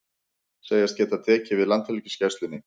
Segjast geta tekið við Landhelgisgæslunni